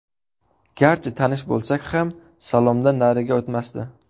Garchi tanish bo‘lsak ham salomdan nariga o‘tmasdi.